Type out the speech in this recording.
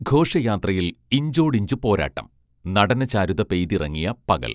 ഘോഷയാത്രയിൽ ഇഞ്ചോടിഞ്ച് പോരാട്ടം നടനചാരുത പെയ്തിറങ്ങിയ പകൽ